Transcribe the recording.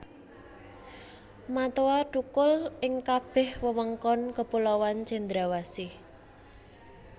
Matoa thukul ing kabeh wewengkon kepulauan Cendrawasih